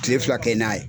Kile fila kɛ n'a ye